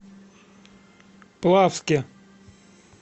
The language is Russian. плавске